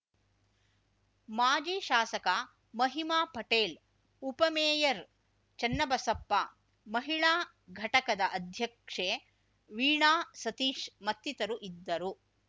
ಮಾಜಿ ಶಾಸಕ ಮಹಿಮಾ ಪಟೇಲ್‌ ಉಪಮೇಯರ್‌ ಚನ್ನಬಸಪ್ಪ ಮಹಿಳಾ ಘಟಕದ ಅಧ್ಯಕ್ಷೆ ವೀಣಾ ಸತೀಶ್‌ ಮತ್ತಿತರು ಇದ್ದರು